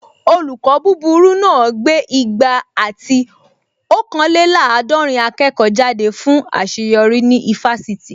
Olùkọ́ búburú náà gbé igba ati ọ̀kanlélàádọ̀rìn akẹ́kọ̀ọ́ jáde fún àṣeyọrí ní ifásitì